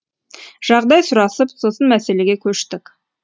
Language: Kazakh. жағдай сұрасып сосын мәселеге көштік